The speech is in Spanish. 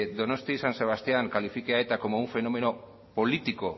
donostia san sebastián califique a eta como un fenómeno político